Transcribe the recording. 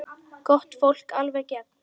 Gott fólk, alveg í gegn.